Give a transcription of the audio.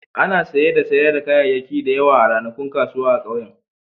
Ana saye da sayar da kayayyaki da yawa a ranakun kasuwa a ƙauyen.